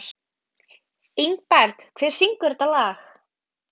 Ingberg, hver syngur þetta lag?